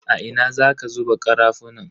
A ina zaka zuba karafunan?